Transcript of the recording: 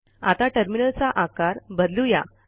आता टर्मिनलचा आकार बदलू या